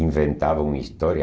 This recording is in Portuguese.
Inventavam uma história.